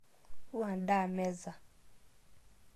Wua ndaa meza